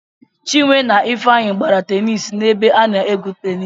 Chinwe na Ifeanyị gbara tenis nebe a na-egwu tenis.